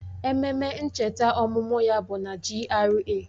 Ememe ncheta ọmụmụ ya bụ na GRA